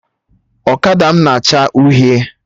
Ọkada m na acha uhie